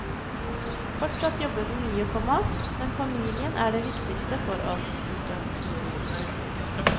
Fortsatt jobber vi mye, komma men familien er det viktigste for oss. punktum